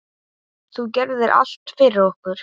Þú gerðir allt fyrir okkur.